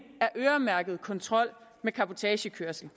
øremærket til kontrol med cabotagekørsel